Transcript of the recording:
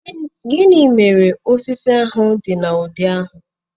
gini mere osisi ahu di n'udi ahu?